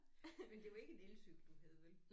Men det var ikke en elcykel du havde vel